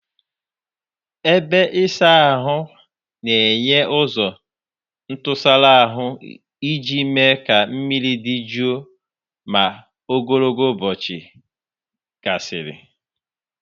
Ebe ịsa ahụ na-enye ụzọ ntụsara ahụ iji mee ka mmiri dị jụụ ma ogologo ụbọchị gasịrị.